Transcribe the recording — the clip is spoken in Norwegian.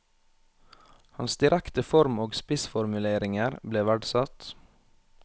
Hans direkte form og spissformuleringer ble verdsatt.